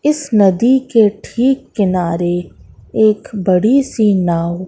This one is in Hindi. इस नदी के ठीक किनारे एक बड़ी सी नाव--